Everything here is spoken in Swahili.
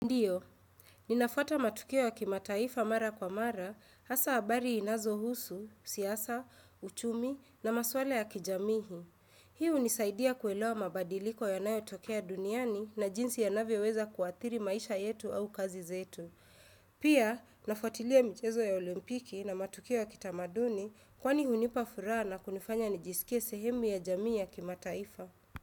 Ndiyo, ninafwata matukio ya kimataifa mara kwa mara, hasa habari zinazohusu, siasa, uchumi na maswala ya kijamii. Hii hunisaidia kuelewa mabadiliko yanayotokea duniani na jinsi yanavyoweza kuadhiri maisha yetu au kazi zetu. Pia, ninafutilia michezo ya olimpiki na matukio ya kitamaduni kwani hunipa furaha na kunifanya nijisikie sehemu ya jamii ya kimataifa.